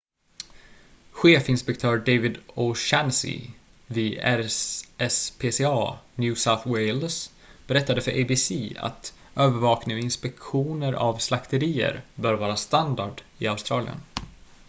chefinspektör david o'shannessy vid rspca new south wales berättade för abc att övervakning och inspektioner av slakterier bör vara standard i australien